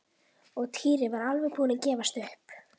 Og Týri var alveg búinn að gefast upp.